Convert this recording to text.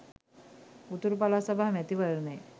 උතුරු පළාත් සභා මැතිවරණය